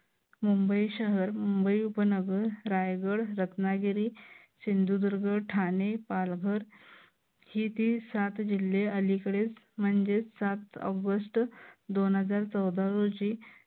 मुंबई शहर मुंबई उपनगर रायगड रत्नागिरी सिंधुदुर्ग ठाणे पालघर ही ती सात जिल्हे अलिकडेच म्हणजेच सात ऑगस्ट दोन हजार चौदा रोजी